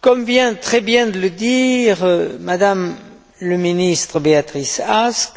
Comme vient très bien de le dire M me le ministre, Beatrice Ask,